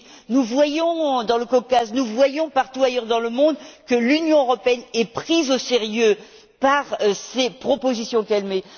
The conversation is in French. Nous voyons dans le Caucase, nous voyons partout ailleurs dans le monde, que l'Union européenne est prise au sérieux par les propositions qu'elle émet.